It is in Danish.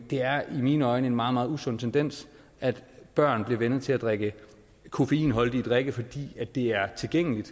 det er i mine øjne en meget meget usund tendens at børn bliver vænnet til at drikke koffeinholdige drikke fordi de er tilgængelige